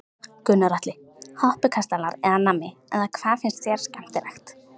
Gunnar Atli: Hoppukastalar eða nammi eða hvað finnst þér skemmtilegt?